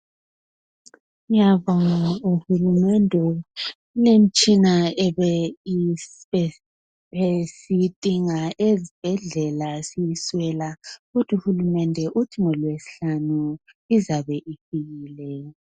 Ngiyabonga uhulumende ngemitshina ekade siyidinga ezibhedlela siyiswela kodwa uhulumende uthi ngolwesihlanu izabe ifikile.